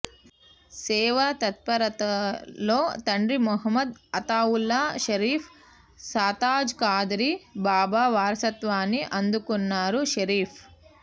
సేవాతత్పరతలో తండ్రి మహ్మద్ అతావుల్లా షరీఫ్ సాతాజ్ కాదరీ బాబా వారసత్వాన్ని అందుకున్నారు షరీఫ్